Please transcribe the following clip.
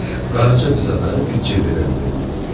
Qaraca qıza da bir ceverən verdi.